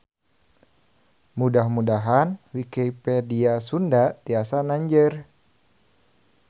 Mudah-mudahan Wikipedia Sunda tiasa nanjeur.